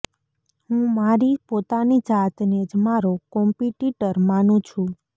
હું મારી પોતાની જાતને જ મારો કોમ્પિટિટર માનું છું